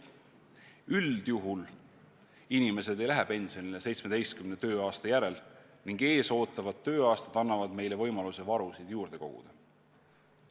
Üldjuhul inimesed ei lähe pensionile 17 tööaasta järel ning ees ootavad tööaastad annavad meile võimaluse varusid juurde koguda.